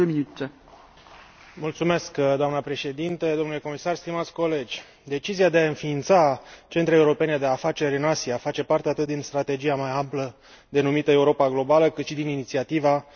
Doamnă președinte, domnule comisar, stimați colegi, decizia de a înființa centre europene de afaceri în Asia face parte atât din strategia mai amplă, denumită Europa globală, cât și din inițiativa în favoarea întreprinderilor mici,